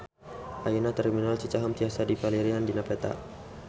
Ayeuna Terminal Cicaheum tiasa dipilarian dina peta